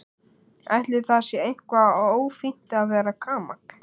Ætli það sé eitthvað ófínt að vera gamall?